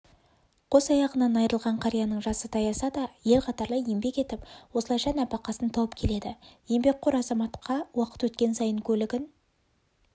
қос аяғынан айырылған қарияның жасы таяса да ел қатарлы еңбек етіп осылайша нәпақасын тауып келеді еңбеккор азаматқа уақыт өткен сайын көлігін